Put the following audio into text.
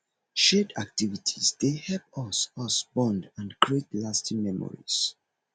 shared activities dey help us us bond and create lasting memories